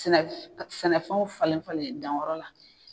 Sɛnɛfɛnw falenlen falen danyɔrɔ la